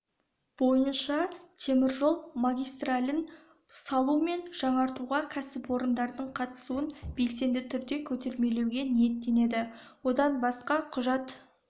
бойынша теміржол магистралін салу мен жаңғыртуға кәсіпорындардың қатысуын белсенді түрде көтермелеуге ниеттенеді одан басқа құжат